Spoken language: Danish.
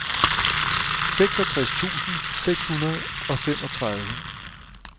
seksogtres tusind seks hundrede og femogtredive